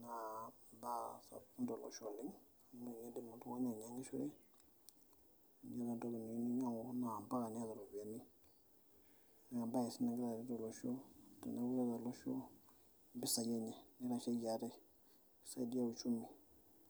naa imbaa sapukin tolosho oleng amu ninye indim oltung'ani ainyiang'ishore yiolo entoki niyieu ninyiang'u naa mpaka niata ropiyiani nee embaye sii nagira areet olosho teneeku keeta olosho impisai enye nitasheki ate nisaidia uchumi.